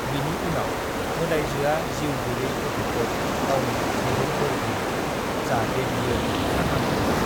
"बिनि उनाव, मोदाइजोआ जिउ गैयै गथ'खौ गावनि आखाइजों बोर होयो, जाहाथे बियो थांखांफिनो।"